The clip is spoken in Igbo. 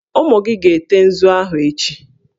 Ụmụ gị ga-ete nzu ahụ echi!